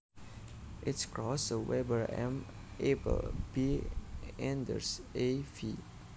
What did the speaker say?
H Krauss A Weber M Appel B Enders A v